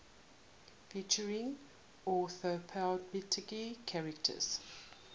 featuring anthropomorphic characters